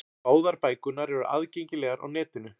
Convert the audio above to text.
Báðar bækurnar eru aðgengilegar á netinu.